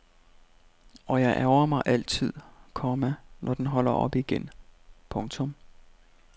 Og jeg ærgrer mig altid, komma når den holder op igen. punktum